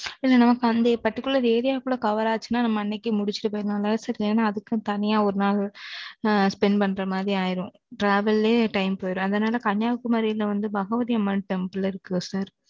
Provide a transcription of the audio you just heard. இது நம்ம particular area க்குள்ள cover ஆச்சுன்னா, நம்ம அன்னைக்கே முடிச்சிட்டு போயிடலாம். சரி, இல்லைன்னா, அதுக்குன்னு தனியா ஒரு நாள், அ, spend பண்ற மாதிரி ஆயிரும். travel லையே time போயிடும். அதனாலே, கன்னியாகுமரியிலே வந்து, பகவதி அம்மன் temple இருக்கு sir